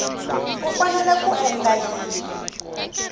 u fanele ku endla yini